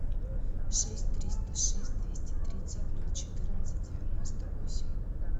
шесть триста шесть двести тридцать ноль четырнадцать девяносто восемь